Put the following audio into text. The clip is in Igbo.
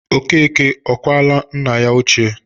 Okeke ọ kwala nna ya ochie?